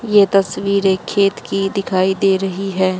ये तस्वीर एक खेत की दिखाई दे रही है।